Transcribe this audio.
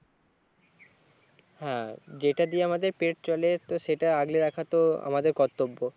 হ্যাঁ যেটা দিয়ে আমাদের পেট চলে তো সেটা আগলে রাখা তো আমাদের কর্তব্য